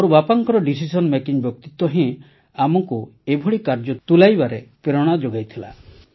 ମୋର ବାପାଙ୍କର decision making ବ୍ୟକ୍ତିତ୍ୱ ହିଁ ଆମକୁ ଏଭଳି କାର୍ଯ୍ୟ ତୁଲାଇବାରେ ପ୍ରେରଣା ଯୋଗାଇଥିଲା